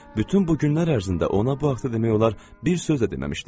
Bütün bu günlər ərzində ona bu haqda demək olar bir söz də deməmişdim.